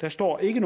der står ikke